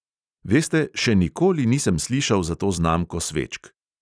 "Veste, še nikoli nisem slišal za to znamko svečk!"